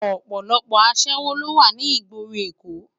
Òpòlòpò aṣèwó ló wá ni igbóró Ékó